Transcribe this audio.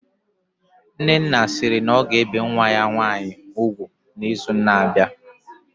Nnenna sịrị na ọ ga-ebe nwa ya nwaanyị ugwu na izu na abịa